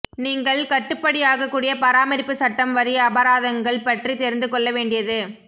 நீங்கள் கட்டுப்படியாகக்கூடிய பராமரிப்பு சட்டம் வரி அபராதங்கள் பற்றி தெரிந்து கொள்ள வேண்டியது